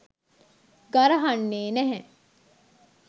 ගරහන්නේ නැහැ